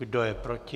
Kdo je proti?